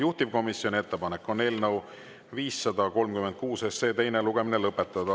Juhtivkomisjoni ettepanek on eelnõu 536 teine lugemine lõpetada.